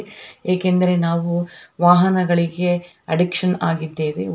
ಏಕೆಂದ್ರೆ ನಾವು ವಾಹನಗಳಿಗೆ ಅಡ್ಡಿಕ್ಷನ್ ಆಗಿದ್ದೇವೆ --